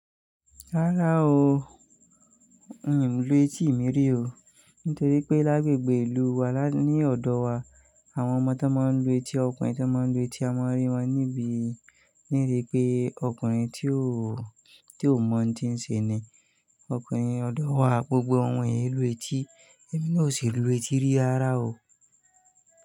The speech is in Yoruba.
Rárá o, n ò lu etí mìírí o. Nítorí pé lágbègbè ìlú wa lá ní ọ̀dọ̀ wa àwọn ọmọ tó máa ń lu etí, ọkùnrin tó máa ń lu etí a máa rí wọn níbí. Ní ìrí pé ọkùnrin tí ó, tí ó mọ̀ ń tí ń ṣe ni, ọkùnrin ọ̀dọ̀ wa gbogbo wọ́n yóò lu etí, èmi ni ò sì lu etí rí ara o.